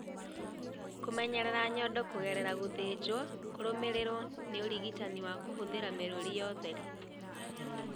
Kũmenyerera nyondo kũgerera gũthĩnjwo kũrũmĩrĩirwo nĩ ũrigitani wa kũhũthĩra mĩrũri ya ũtheri.